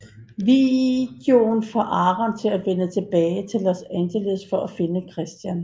Videoen får Aaron til at vende tilbage til Los Angeles for at finde Christian